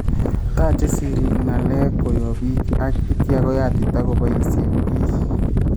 Taache siriik ng�aleb koyob biik ak itya koyatita koboisien biik